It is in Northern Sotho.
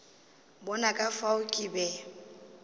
bona ka fao ke be